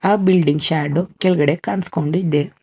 ಆ building shadow ಕೆಳ್ಗಡೆ ಕಾಣಿಸ್ಕೊಂಡಿದೆ.